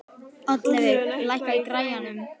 Oddleifur, lækkaðu í græjunum.